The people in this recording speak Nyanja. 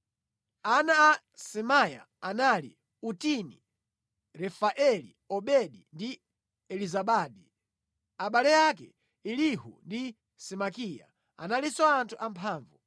Ana a Semaya anali: Otini, Refaeli, Obedi ndi Elizabadi; abale ake, Elihu ndi Semakiya, analinso anthu amphamvu.